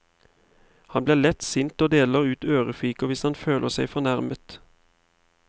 Han blir lett sint og deler ut ørefiker hvis han føler seg fornærmet.